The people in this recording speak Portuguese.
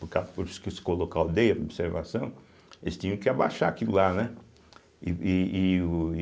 Por ca por isso que se coloca a aldeia, observação, eles tinham que abaixar aquilo lá, né? e e e o